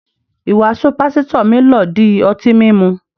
Ìwàásù pásítò mi lọ dí ọ̀tí mímú